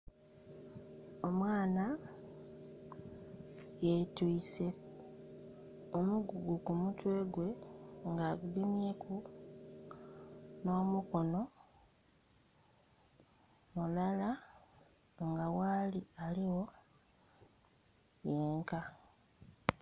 Omwana yetwiise omugugu ku mutwe gwe nga agugemyeku nh'omukono mulala, nga ghali aligho yenka.